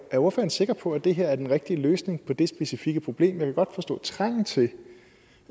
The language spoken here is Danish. er ordføreren sikker på at det her er den rigtige løsning på det specifikke problem jeg kan godt forstå trangen til